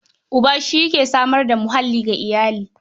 Uba shi yake samar da muhalli ga iyali.